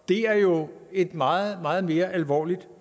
det er jo et meget meget mere alvorligt